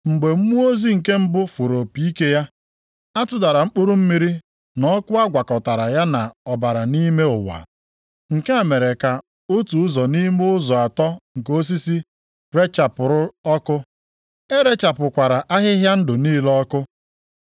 Mgbe mmụọ ozi nke mbụ fụrụ opi ike ya, a tụdara mkpụrụ mmiri na ọkụ a gwakọtara ya na ọbara nʼime ụwa. Nke a mere ka otu ụzọ nʼime ụzọ atọ nke osisi rechapụrụ ọkụ, e rechapụkwara ahịhịa ndụ niile ọkụ.